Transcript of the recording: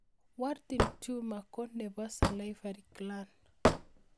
Warthin tumor ko nepo salivary gland